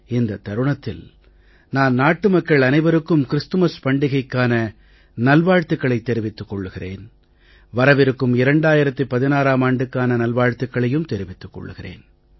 இந்தத் தருணத்தில் நான் நாட்டு மக்கள் அனைவருக்கும் கிறிஸ்துமஸ் பண்டிகைக்கான நல்வாழ்த்துக்களைத் தெரிவித்துக் கொள்கிறேன் வரவிருக்கும் 2016ம் ஆண்டுக்கான நல்வாழ்த்துக்களையும் தெரிவித்துக் கொள்கிறேன்